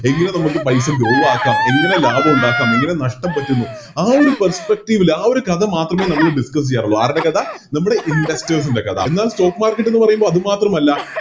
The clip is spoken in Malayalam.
എങ്ങനെ നമ്മൾക്ക് പൈസ Grow ആക്കം എങ്ങനെ ലാഭോ ഉണ്ടാക്കാം എങ്ങനെ നഷ്ട്ടം പറ്റുന്നു ആ ഒരു Perspective ല് ആ ഒരു കഥ മാത്രമേ നമ്മള് Discuss ചെയ്യാറുള്ളു ആരുടെ കഥ നമ്മുടെ Investors ൻറെ കഥ എന്നാൽ Stock market എന്ന് പറയുമ്പോൾ അതുമാത്രമല്ല